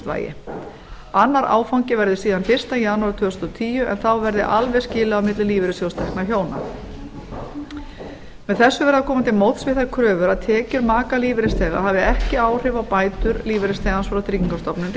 prósent vægi annar áfangi verður síðan fyrsta janúar tvö þúsund og tíu en þá verði alveg skilið á eðli lífeyrissjóðs vegna hjóna með þessu er verið að koma til móts við þær kröfur að tekjur makalífeyrisþega hafi ekki áhrif á bætur lífeyrisþegans og tryggingastofnun